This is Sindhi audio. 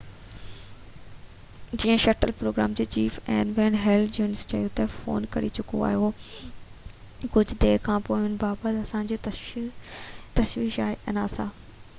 nasa جي شٽل پروگرام جي chief N Wayne Hale junior چيو تہ، فوم ڪري چڪو هو ڪجهہ دير کانپوءِ ان بابت اسان کي تشويش آهي